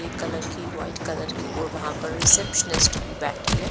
एक कलर की white colour की और वहाँ पर रिसेप्शनिस्ट भी बैठी है।